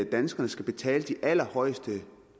danskerne skal betale de allerhøjeste